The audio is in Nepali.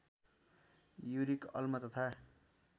युरिक अम्ल तथा